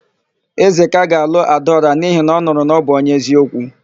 Ezeka ga-alụ Adaọra n'ihi na ọ nụrụ na ọ bụ onye eziokwu.